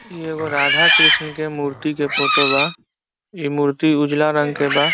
इ एगो राधा कृष्ण के मूर्ति के फोटो बा इ मूर्ति उजाला कलर के बा।